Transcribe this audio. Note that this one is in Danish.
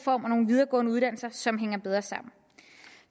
og nogle videregående uddannelser som hænger bedre sammen